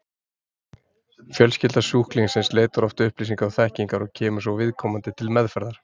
Fjölskylda sjúklingsins leitar oft upplýsinga og þekkingar og kemur svo viðkomandi til meðferðar.